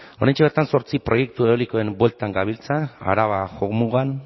oraintxe bertan zortzi proiektu eolikoen bueltan gabiltza araba jomugan